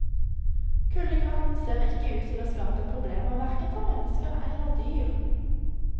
Kuldegradene ser ikke ut til å skape problemer, hverken for mennesker eller dyr.